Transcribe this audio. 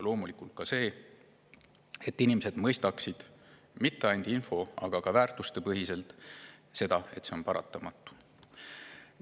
Loomulikult ka see, et inimesed mõistaksid mitte ainult info‑, aga ka väärtustepõhiselt seda, et see on paratamatu.